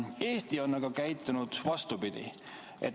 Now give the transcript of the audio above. Eesti on käitunud vastupidi.